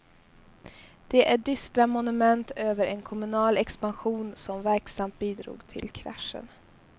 De är dystra monument över en kommunal expansion som verksamt bidrog till kraschen.